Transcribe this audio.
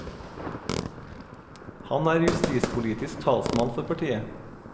Han er justispolitisk talsmann for partiet.